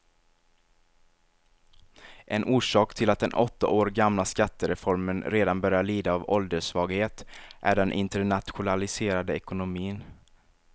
En orsak till att den åtta år gamla skattereformen redan börjar lida av ålderssvaghet är den internationaliserade ekonomin.